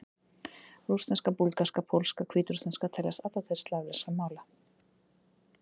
Rússneska, búlgarska, pólska og hvítrússneska teljast allar til slavneskra mála.